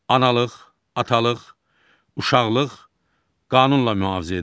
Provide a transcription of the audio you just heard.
Analıq, atalıq, uşaqlıq qanunla mühafizə edilir.